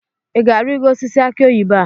ị ga-arịgo osisi akị oyibo a?